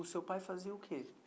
O seu pai fazia o quê?